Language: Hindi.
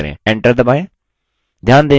enter दबाएँ